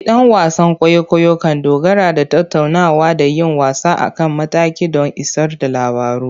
Gidan wasan kwaikwayo kan dogara da tattaunawa da yin wasa a kan mataki don isar da labaru.